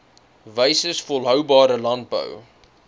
wyses volhoubare landbou